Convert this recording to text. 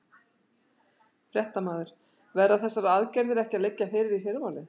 Fréttamaður: Verða þessar aðgerðir ekki að liggja fyrir í fyrramálið?